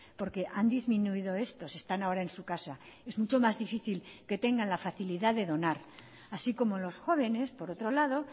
porque han disminuido estos están ahora en su casa es mucho más difícil que tengan la facilidad de donar así como los jóvenes por otro lado